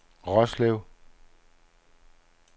Roslev